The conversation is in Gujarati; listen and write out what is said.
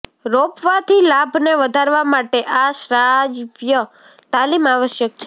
રોપવાથી લાભને વધારવા માટે આ શ્રાવ્ય તાલીમ આવશ્યક છે